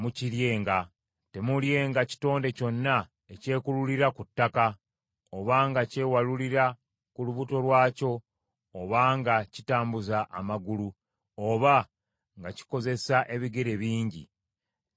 Temuulyenga kitonde kyonna ekyekululira ku ttaka, obanga kyewalulira ku lubuto lwakyo, oba nga kitambuza amagulu, oba nga kikozesa ebigere bingi; kinaabanga kya muzizo.